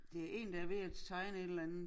Det én der ved at tegne et eller andet